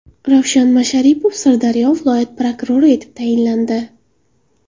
Ravshan Masharipov Sirdaryo viloyat prokurori etib tayinlandi.